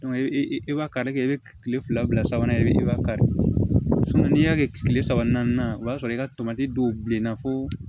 e b'a kari kɛ i bɛ kile fila bila sabanan i be e b'a kari n'i y'a kɛ kile saba naaninan o b'a sɔrɔ i ka tomati dɔw bilenna fo